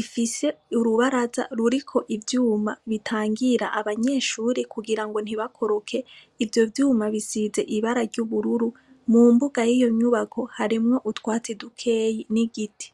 ifise urubaraza ruriko ivyuma bitangira abanyeshuri kugira ngo ntibakoroke ivyo vyuma bisize ibara ry'ubururu, mu mbuga y'iyo nyubako harimwo utwatsi dukeyi n'igiti.